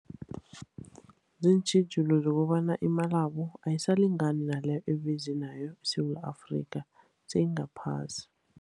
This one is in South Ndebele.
Ziintjhijilo zokobana imalabo ayisalingani naleyo abeze nayo eSewula Afrika, seyingaphasi.